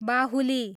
बाहुली